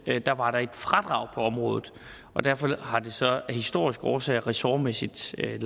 var der et fradrag på området derfor har det så af historiske årsager ressortmæssigt ligget